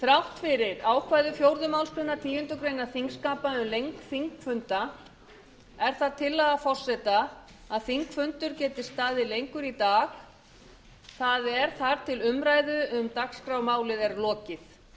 þrátt fyrir ákvæði fjórðu málsgreinar tíundu greinar þingskapa um lengd þingfunda er það tillaga forseta að þingfundur geti staðið lengur í dag það er þar til umræðu um dagskrármálið er lokið